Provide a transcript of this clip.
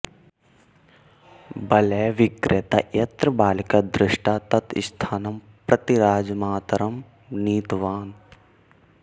वलयविक्रेता यत्र बालिका दृष्टा तत् स्थानं प्रति राजमातरं नीतवान्